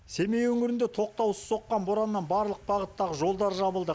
семей өңірінде тоқтаусыз соққан бораннан барлық бағыттағы жолдар жабылды